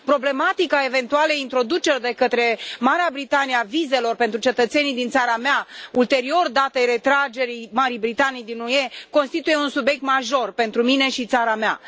Problematica eventualei introduceri de către Marea Britanie a vizelor pentru cetățenii din țara mea ulterior datei retragerii Marii Britanii din UE, constituie un subiect major pentru mine și țara mea.